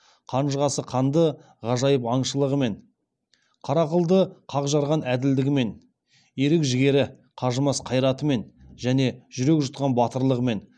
қанжығасы қанды ғажайып аңшылығымен қара қылды қақ жарған әділдігімен ерік жігері қажымас қайратымен және жүрек жұтқан батылдығымен